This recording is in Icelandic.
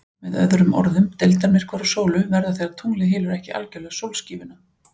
Með öðrum orðum, deildarmyrkvar á sólu verða þegar tunglið hylur ekki algjörlega sólskífuna.